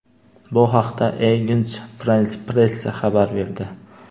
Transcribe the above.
Bu haqda Agence France-Presse xabar berdi .